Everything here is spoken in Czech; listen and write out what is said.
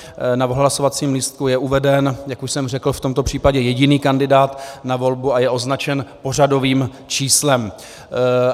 Na hlasovacím lístku je uveden, jak už jsem řekl, v tomto případě jediný kandidát na volbu a je označen pořadovým číslem.